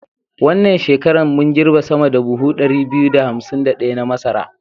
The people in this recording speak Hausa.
Wannan shekarar mun girbe sama da da buhu 2251 na masara.